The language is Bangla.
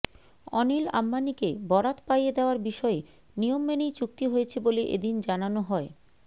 অনিল অম্বানীকে বরাত পাইয়ে দেওয়ার বিষয়ে নিয়ম মেনেই চুক্তি হয়েছে বলে এ দিন জানানো হয়